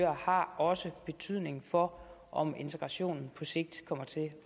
har også betydning for om integrationen på sigt kommer til